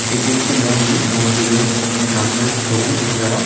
এটি একটি মন্দির মন্দিরের সামনের ছবি নেওয়া।